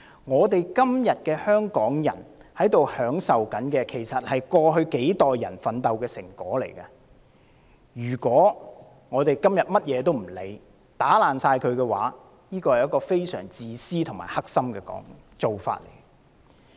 香港人今天享有的一切，是過去數代人奮鬥的成果，今天不顧一切將之全數破壞，是一種非常自私和惡毒的做法。